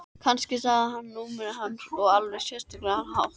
Kannski sagði hún númerið hans á alveg sérstakan hátt.